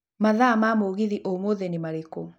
mathaa ma mũgithi ũmũthĩ nĩ marĩkũ